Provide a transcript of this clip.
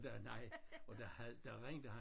Og der nej og der havde der var 1 der